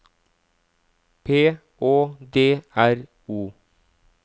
P Å D R O